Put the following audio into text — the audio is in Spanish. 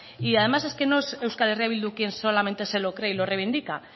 y además es que no es euskal herria bildu quien solamente se lo cree y lo reivindica